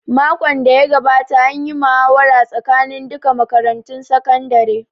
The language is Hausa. Makon da ya gabata an yi muhawara tsakanin duka makarantun sakandare